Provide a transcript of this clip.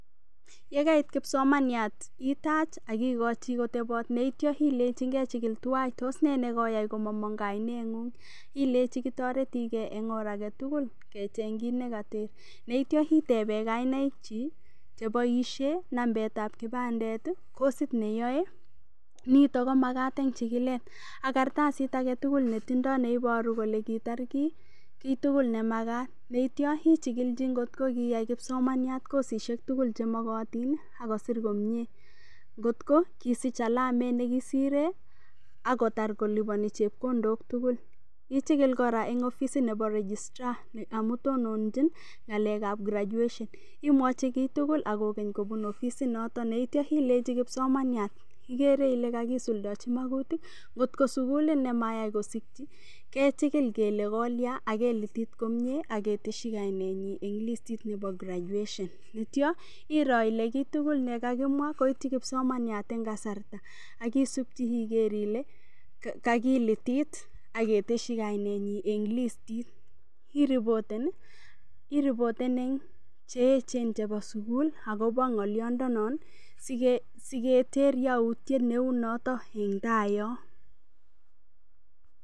Yegaait kipsomaniaat itaach ak igochi kotoboot, yeityoo ilenchi toos nee negoyaai komamong' kaineet ng'uung', ilenchi kitoretigee en orr agetugul kecheng' kiit negateeb, yeityo itebee gainaiik chii cheboishen nambeet ab kibandeet kosiit neyooe, nitoon komagaat en chigileet ak kartasiit agetugul netindoo neiboruu kole kiitaar kiih kitugul nemagaat, yeityo ichigilchi kotngogiyaai kipsomaniat kosisiek tugul chemogotiin ak kosiir komyee, ngoot koo ngisiich alameet negisireen ak kotaar kolibonii chepkondook tugul, ichigiil koraa en ofisiit neboo registraa amun tononchin ngaleek ab graduation imwochi kiitugul ak kogen kobuun ofisiit notoon ak ityoo ilenchi kipsomaniat, igere ile kagisuldechi magutiik, ngoot ngoo suguliit nemayaai kosikyii kechigill kole kolyaan ak kelitit komyee ak ketesyii kainenyiin en listit nebo graduation, iityo iroo ile kiit tugul negagimwaa koityii kipsomaniaat en kasarta ak isuub igeer ile kagilitiit ketesyi kainenyiin en listiit iriboteen iih, iriboteen en cheechen chebo sugul agobo ngolyondenon iih sigeterr yautyeet neuu noton en taa yoon.